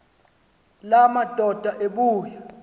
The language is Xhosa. la madoda ebuya